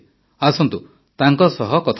ଆସନ୍ତୁ ତାଙ୍କ ସହ କଥା ହେବା